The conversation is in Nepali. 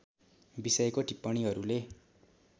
विषयको टिप्पणीहरूले